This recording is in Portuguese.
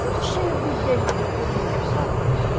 Tudo cheio de dengo comigo, só vento.